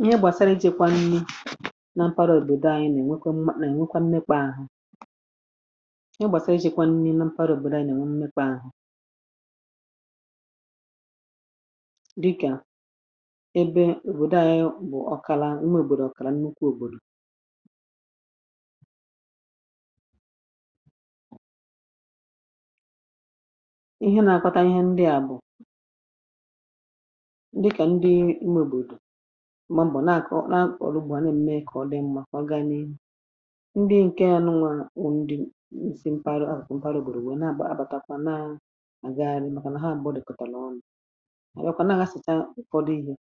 Ihe gbasara iji̇kwa nni̇ na mpara òbòdò anyị, nà-ènwekwa mmȧ, nà-ènwekwa mmekwa ahụ̇. Ihe gbasara iji̇̇kwa nni̇ na mpara òbòdò anyị, nà-ènwekwa ahụ̇, dịkà ebe òbòdò anyị bụ̀ ọkàla ume òbòrò, ọkàrà nnukwu òbòrò. Ma mbọ̀, nakọ, na akọ̀rọ̀, ugbȯ a nà mme kọ̀, ọ dị mmȧ. Kwà gani ndị ǹke nụ nwa, ndị msi mpaghara ahụ̀, kwà mpaghara ògbòrò, nwèe na-àkpọ. Abàtakwa na gaȧrị̇ màkà nà ha àgbàọdị̀kọ̀tà n’ọnụ̇ àyakwa, na gha sìta ụfọdụ ihė.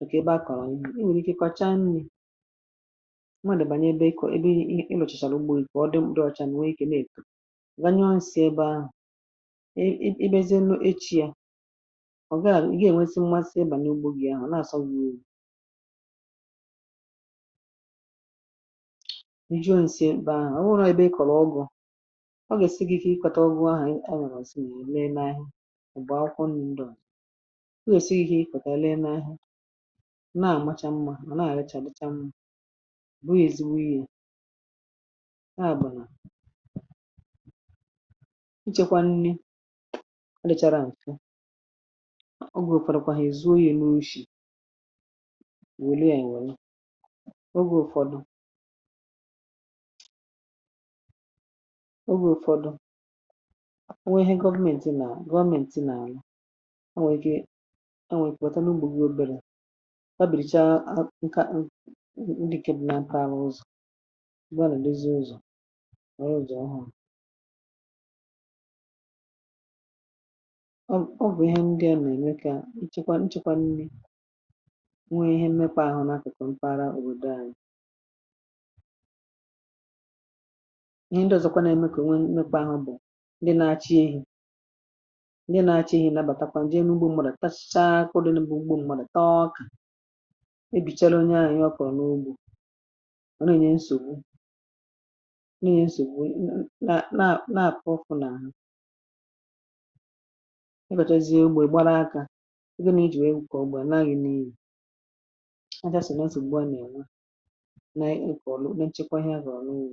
Ọ̀ kà ebe akọ̀rọ̀ ihe i nwèrè ike, kọchaa nni̇. Ọ̀ nwa, dị̀bànye ebe ị kọ, ebe ị lọ̀chàchàrọ ugbȯ. Ìkè ọ dị, mkpùrù ọcha, nwèe ike nà èkù ganye onsi ebe ahụ̀. I bezie nʼo echi̇ — à, ọ̀ gaghàrà ijuo ǹsìemkpè ahụ̀. Ọ nwẹ̀rẹ̀ ibe, ị kọ̀rọ̀ ọgụ̀, ọ gà èsi gi ihe ịkwȧta ọgụ ahà. E nwèrè zi nà èle n’ahụ̀, m̀gbè akwụkwọ nni̇ ǹdèàlà. Ọ gòsìe ihe ikȯtȧ, èle n’ahụ̀, nà àmacha mmȧ, nà àrịcha dịcha. M bụ̀ ezi̇wụ ihe, e nà bàlà ịchẹ̇kwa nni, ọ dịchȧrȧ ǹfẹ. Wèlee à — ènwèli ogė ụfọdụ, ogė ụfọdụ onwe ihe. Gọvmenti nà gọvmenti nà-àlà. A nwèrè ike, a nwèrè ikebata n’ugbȯ gi obere. A bìrìcha nka, ndị kebì na-apụ̀anwụzụ. Gbanùdezi ụzọ̀ a, ya ụzọ̀ ọhụrụ̇. A bụ̀ ihe ndị a nà-ème ka nchekwa, nchekwa nri, nwee ihe mmekwa ahụ na-akụkụ mpaghara. Ọ wụ doa, ihe ndị ọzọkwa na-emekọ, nwee mekwa ahụ. Bụ ndị na-acha ihu, ndị na-acha ihu nabatakwa nje n’ugbo. Mmadụ tachaa kwụrụ n’ugbo. Mmadụ taa ọka, e bichara onye ahụ ihe ọ kọọ n’ugbo. Ọ nà-ènye nsògbu, nà-ènye nsògbu. Na-àpụrụfụ n’ahụ. A jàsa n’azị̀, gbùa n’ị̀la, nà-ẹ̀nyẹ ǹkè ọ̀lụ nà nchẹkwa ihe. Zòọlụ, wùu.